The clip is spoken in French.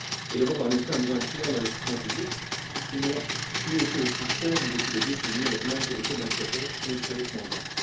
L'Europe a en effet un besoin criant d'investissements publics puisqu'ils n'ont plus été aussi faibles depuis des décennies, alors même que les taux d'intérêts sont historiquement bas.